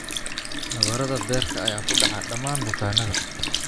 Nabarrada beerka ayaa ku dhaca dhammaan bukaannada.